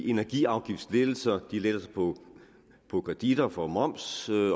energiafgiftslettelserne lettelser på kreditter for moms